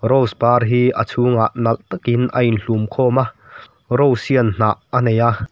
rose par hi a chhungah nalh takin a inhlum khawm a rose hian hnah a nei a.